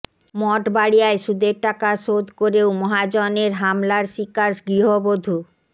মঠবাড়িয়ায় সুদের টাকা শোধ করেও মহাজনের হামলার শিকার গৃহবধূ